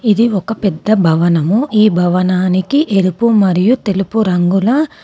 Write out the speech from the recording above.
ఇది ఒక పెద్ద భవనము. ఈ భవనానికి ఎరుపు మరియు తెలుపు రంగుల--